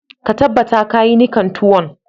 Ka tabatar ka yi nikan tuwon.